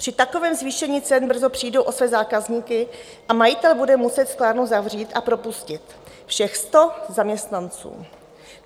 Při takovém zvýšení cen brzy přijdou o své zákazníky a majitel bude muset sklárnu zavřít a propustit všech 100 zaměstnanců.